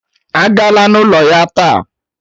Agala n'ụlọ ya taa!